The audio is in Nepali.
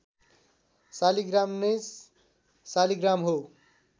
शालिग्राम नै शालिग्राम हो